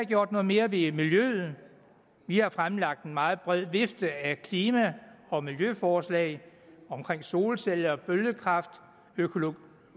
gjort noget mere ved miljøet vi har fremlagt en meget bred vifte af klima og miljøforslag om solceller og bølgekraft og økologi